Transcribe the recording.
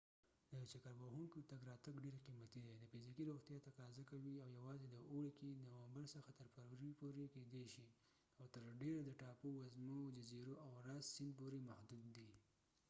د چکر وهونکو تګ راتګ ډیر قیمتي دی، د فزیکي روغتیا تقاضا کوي او یواځې د اوړي کې نومبر څخه تر فرورۍ پورې کیدای شي او تر ډیره د ټاپو وزمو، جزیرو او راس سیند پورې محدود دي